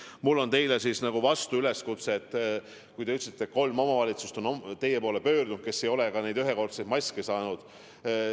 Aga mul on teile nagu vastuüleskutse: te ütlesite, et teie poole on pöördunud kolm omavalitsust, kes ei ole ka neid ühekordseid maske saanud.